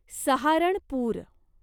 Saharanpur